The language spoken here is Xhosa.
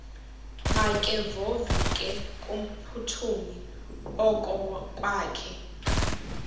makevovike kumphuthumi okokwakhe